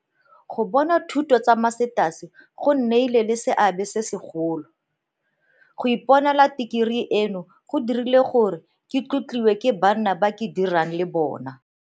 Go bona dithuto tsa Masters go nnile le seabe se segolo. Go iponela tekerii eno go dirile gore ke tlotliwe ke banna ba ke dirang le bona.